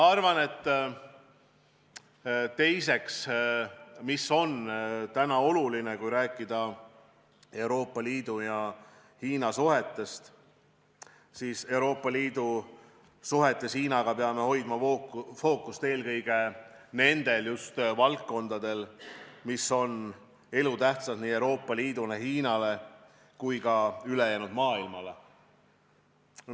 Teiseks, kui rääkida Euroopa Liidu ja Hiina suhetest, siis on oluline, et Euroopa Liidu suhetes Hiinaga peab hoidma fookust eelkõige just nendel valdkondadel, mis on elutähtsad nii Euroopa Liidule, Hiinale kui ka ülejäänud maailmale.